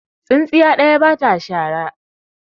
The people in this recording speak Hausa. Tsintsiya ɗaya ba ta shara.